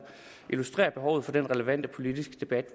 illustrerer behovet for den relevante politiske debat